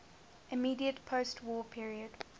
immediate postwar period